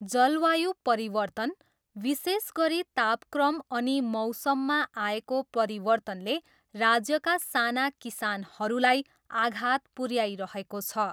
जलवायु परिवर्तन, विशेष गरी तापक्रम अनि मौसममा आएको परिवर्तनले राज्यका साना किसानहरूलाई आघात पुऱ्याइरहेको छ।